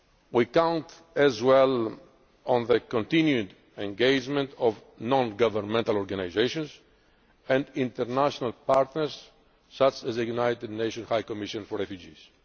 We also count on the continued engagement of non governmental organisations and international partners such as the United Nations High Commission for Refugees.